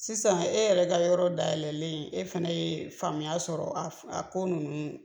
Sisan e yɛrɛ ka yɔrɔ dayɛlɛlen, e fana ye faamuya sɔrɔ a ko ninnu